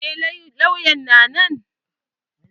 Eh Lauyan na nan.